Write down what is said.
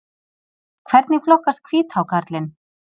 Hvernig flokkast hvíthákarlinn?